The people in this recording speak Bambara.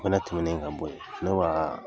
o fana tɛmɛnen ka bɔ yen ne wa